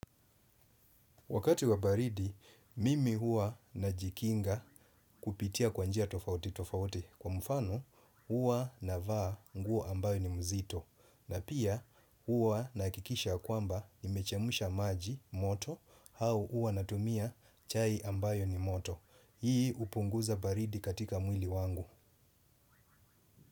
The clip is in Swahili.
Wakati wa baridi, mimi huwa najikinga kupitia kwa njia tofauti tofauti kwa mfano hua navaa nguo ambayo ni mzito na pia hua nahakikisha kwamba nimechemsha maji moto hau hua natumia chai ambayo ni moto. Hii upunguza baridi katika mwili wangu.